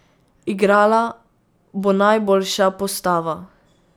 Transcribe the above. Igrala bo najboljša postava.